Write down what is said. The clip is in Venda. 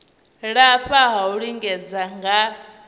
lafha ha u lingedza nga